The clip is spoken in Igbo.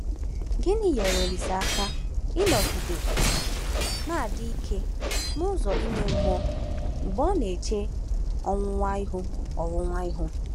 Gịnị nyeere Olise aka ịnọgide na-adị ike n’ụzọ ime mmụọ mgbe ọ na-eche ọnwụnwa ihu? ọnwụnwa ihu?